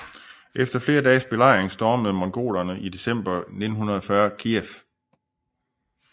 Efter flere dages belejring stormede mongolerne i december 1940 Kijev